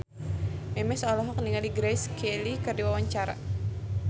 Memes olohok ningali Grace Kelly keur diwawancara